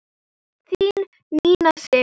Þín Nína Sif.